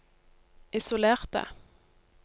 isolerte